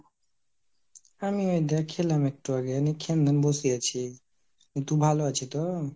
আমি এই দে খেলাম একটু আগে নিয়ে খেয়ে দিং বসে আছি। তো তুই ভালো আছি তো ?